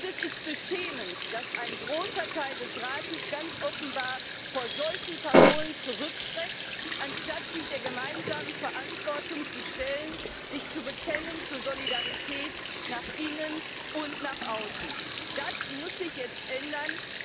Es ist beschämend, dass ein großer Teil des Rates ganz offenbar vor solchen Parolen zurückschreckt, anstatt sich der gemeinsamen Verantwortung zu stellen, sich zur Solidarität zu bekennen, nach innen und nach außen. Das muss sich jetzt ändern.